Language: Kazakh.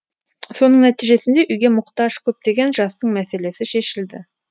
соның нәтижесінде үйге мұқтаж көптеген жастың мәселесі шешілді